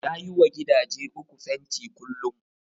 Ya yi wa gidaje uku fenti kullum